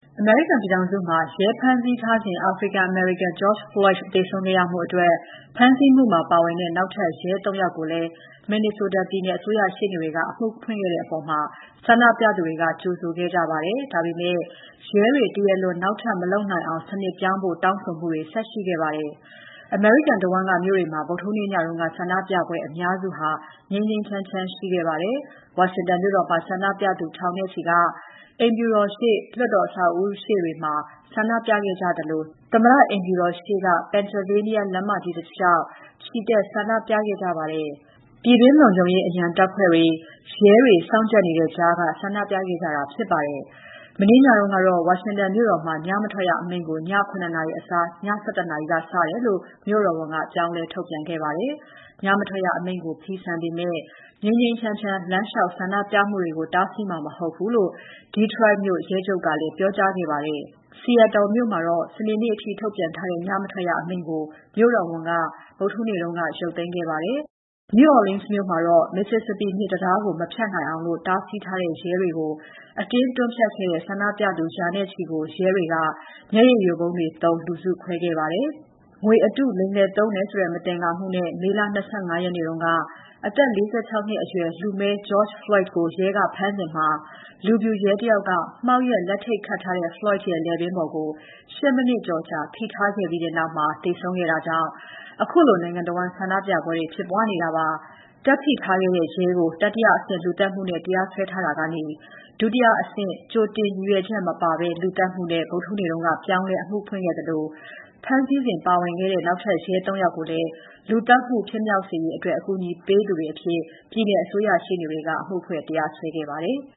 အမေရိကန်ပြည်ထောင်စုမှာ ရဲဖမ်းဆီးထားစဉ် အာဖရိကန် အမေရိကန် George Floyd သေဆုံးခဲ့ရမှုအတွက် ဖမ်းဆီးမှုမှာပါဝင်တဲ့ နောက်ထပ် ရဲ သုံး ယောက်ကိုလည်း Minnesota ပြည်နယ်အစိုးရရှေ့နေတွေက အမှုဖွင့်ခဲ့တဲ့အပေါ် ဆန္ဒပြနေသူတွေက ကြိုဆိုခဲ့ကြပေမဲ့ ရဲတွေ တရားလွန် နောက်ထပ်မလုပ်နိုင်အောင် စနစ်ပြောင်းဖို့ တောင်းဆိုမှုတွေ ဆက်ရှိခဲ့ပါတယ်။ အမေရိကန်တဝန်းက မြို့တွေမှာ ဗုဒ္ဓဟူးနေ့ညက ဆန္ဒပြပွဲ အများစုက ငြိမ်းငြိမ်းချမ်းချမ်းရှိခဲ့ပါတယ်။ ဝါရှင်တန်မြို့တော်မှာ ဆန္ဒပြသူ ထောင်နဲ့ချီဟာ အိမ်ဖြူတော်ရှေ့၊ လွှတ်တော်အဆောက်အဦးရှေ့တွေမှာ ဆန္ဒပြခဲ့ကြသလို သမ္မတအိမ်ဖြူတော်ရှေ့Pennsylvania လမ်းမကြီးတလေ ျှာက် ချီတက်ဆန္ဒပြခဲ့ကြပါတယ်။ ပြည်တွင်းလုံခြုံရေးအရန်တပ်ဖွဲ့တွေ၊ ရဲတွေ စောင့်ကြပ်နေတဲ့ကြားက ဆန္ဒပြခဲ့ကြတာဖြစ်ပါတယ်။ မနေ့ညကတော့ ဝါရှင်တန်မြို့တော်မှာ ညမထွက်ရအမိန့်ကို ည ၇ နာရီအစား ည ၁၁ နာရီက စတယ်လို့ မြို့တော်ဝန်က ပြောင်းလဲထုတ်ပြန်ခဲ့ပါတယ်။ ညမထွက်ရအမိန့်ကို ဖီဆန်ပေမဲ့ ငြိမ်းငြိမ်းချမ်းချမ်း လမ်းလေ ျှာက် ဆန္ဒပြမှုကို တားဆီးမှာမဟုတ်ဘူးလို့ Detroit မြို့ရဲချုပ်ကလည်း ပြောကြားခဲ့ပါတယ်။ Seattle မြို့မှာတော့ စနေနေ့အထိ ထုတ်ပြန်ထားတဲ့ ညမထွက်ရအမိန့်ကို မြို့တော်ဝန်က ရုတ်သိမ်းခဲ့ပါတယ်။ San Francisco နဲ့Los Angeles မြို့တော်ဝန်ကလည်း ညမထွက်ရအမိန့်တွေကို ဒီကနေ့ ကြာသပတေးနေ့မှာ ရုတ်သိမ်းမယ်လို့ ပြောကြားထားကြပါတယ်။ New Orleans မြို့မှာတော့ Mississippi မြစ်တံတားကို မဖြတ်နိုင်အောင် တားဆီးထားတဲ့ ရဲတွေကို အတင်းတွန်းဖြတ်ခဲ့တဲ့ ဆန္ဒပြသူ ရာချီကို ရဲတွေက မျက်ရည်ယိုဗုံးတွေသုံး လူစုခွဲခဲ့ပါတယ်။ မေလ ၂၅ ရက်နေ့က ငွေအတုလိမ်လည်သုံးတယ်ဆိုတဲ့ မသင်္ကာမှုနဲ့ အသက် ၄၆ နှစ်အရွယ် လူမည်း George Floyd ကိုရဲက ဖမ်းစဉ် လူဖြူရဲတယောက်က မှောက်လျက်လက်ထိပ်ခတ်ထားတဲ့ Floyd ရဲ့ လည်ပင်းပေါ် ၈ မိနစ်ကျော်ကြာ ဖိထားခဲ့ပါတယ်။ အဲဒီနောက်ပိုင်းမှာ Floyd သေဆုံးသွားတာကြောင့် ခုလိုနိုင်ငံတဝန်း ဆန္ဒပြပွဲတွေ ဖြစ်ပွားနေတာပါ။ တက်ဖိထားခဲ့တဲ့ရဲကို တတိယအဆင့် လူသတ်မှုနဲ့ တရားစွဲထားရာကနေ ကြိုတင်ရည်ရွယ်ချက်မပါတဲ့ ဒုတိယအဆင့် လူသတ်မှုနဲ့ ဗုဒ္ဓဟူးနေ့က ပြောင်းလဲ အမှုဖွင့်ခဲ့သလို ဖမ်းဆီးစဉ်ပါဝင်တဲ့ နောက် ရဲ သုံး ယောက်ကိုလည်း လူသတ်မှု ဖြစ်မြောက်စေရေး အတွက် အကူအညီပေးသူတွေ အဖြစ် ပြည်နယ်အစိုးရရှေ့နေတွေက အမှုဖွင့် တရားစွဲခဲ့ပါတယ်။